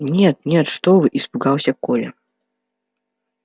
нет нет что вы испугался коля